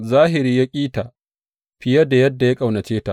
Zahiri ya ƙi ta fiye da ya ƙaunace ta.